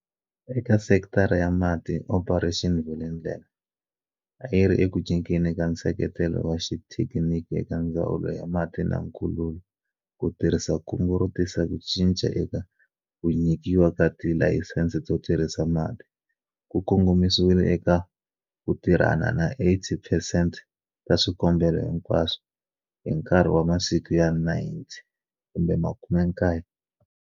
Eka sekitara ya mati, Operation Vulindlela, a yi ri eku nyikeni ka nseketelo wa xithekiniki eka Ndzawulo ya Mati na Nkululo ku tirhisa kungu ro tisa ku cinca eka ku nyikiwa ka tilayisense to tirhisa mati, ku kongomisiwile eka ku tirhana na 80 percent ta swikombelo hinkwaswo hi nkarhi wa masiku ya 90.